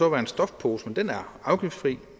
en stofpose og den er afgiftsfri